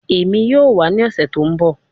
Emi yoo wa ni ọsẹ to nbọ